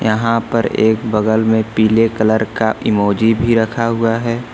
यहां पर एक बगल में पीले कलर का इमोजी भी रखा हुआ है।